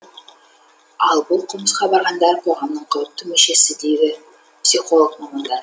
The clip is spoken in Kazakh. ал бұл қылмысқа барғандар қоғамның қауіпті мүшесі дейді психолог мамандар